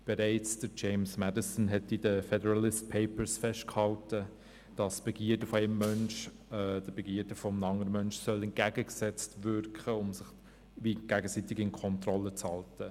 Bereits James Madison hat in den «Federalist Papers» festgehalten, dass die Begierden eines Menschen den Begierden eines anderen Menschen entgegengesetzt wirken sollen, damit sich die Begierden gegenseitig unter Kontrolle halten.